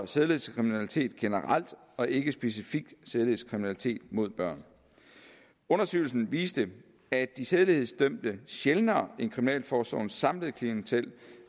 sædelighedskriminalitet generelt og ikke specifikt sædelighedskriminalitet mod børn undersøgelsen viste at de sædelighedsdømte sjældnere end kriminalforsorgens samlede klientel